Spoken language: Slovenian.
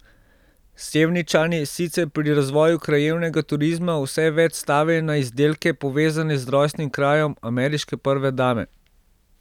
Sevničani sicer pri razvoju krajevnega turizma vse več stavijo na izdelke, povezane z rojstnim krajem ameriške prve dame.